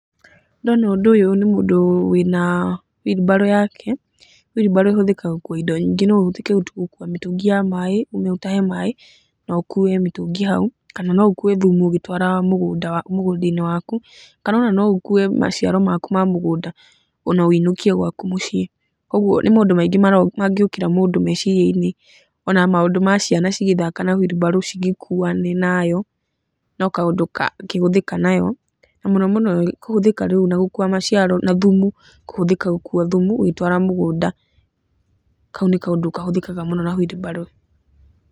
Ndona ũndũ ũyũ nĩ mũndũ wĩna huirimbarũ yake, huirumbarũ ĩhũthikaga gũkua indo nyingĩ, no ĩhũthĩke gũkua mĩtũngi ya maaĩ, ũthie ũtahe maĩ na ũkue mĩtũngi hau. Kana no ũkue thumu ũgĩtwara mũgũnda-inĩ waku, kana ona no ũkue maciaro maku ma mũgũnda ona wũinũkie gwaku mũciĩ, ũguo nĩ maũndũ maingĩ mangĩũkĩra mũndũ mecirian-inĩ. Ona maũndũ ma ciana cigĩthaka na huirimbarũ cigĩkuane nayo, no kaũndũ kangĩhũthĩka nayo, na mũno mũno kũhũthĩka rĩu gũkua maciaro na thumu, kũhũthĩka gũkua thumu ũgĩtwara mũgũnda, kau nĩ kaũndũ kahũthĩkaga mũno na huirimbarũ.